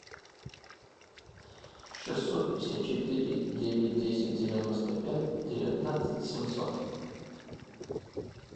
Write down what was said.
шестьсот пятьдесят четыре девять десять девяносто пять девятнадцать семьсот